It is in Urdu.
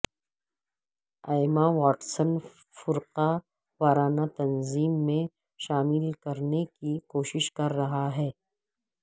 ایما واٹسن فرقہ وارانہ تنظیم میں شامل کرنے کی کوشش کررہا تھا